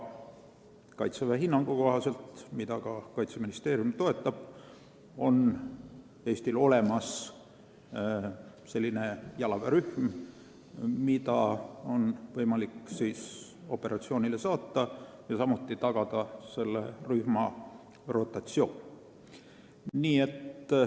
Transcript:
Kaitseväe hinnangu kohaselt, mida ka Kaitseministeerium toetab, on Eestil olemas selline jalaväerühm, mida on võimalik operatsioonile saata, samuti tagada selle rühma rotatsioon.